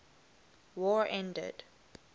war ended